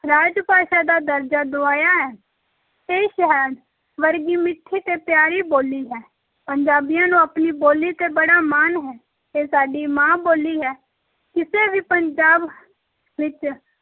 ਰਾਜ-ਭਾਸ਼ਾ ਦਾ ਦਰਜਾ ਦੁਆਇਆ ਹੈ, ਇਹ ਸ਼ਹਿਦ ਵਰਗੀ ਮਿੱਠੀ ਤੇ ਪਿਆਰੀ ਬੋਲੀ ਹੈ, ਪੰਜਾਬੀਆਂ ਨੂੰ ਆਪਣੀ ਬੋਲੀ ‘ਤੇ ਬੜਾ ਮਾਣ ਹੈ, ਇਹ ਸਾਡੀ ਮਾਂ-ਬੋਲੀ ਹੈ, ਕਿਸੇ ਵੀ ਪੰਜਾਬ ਵਿੱਚ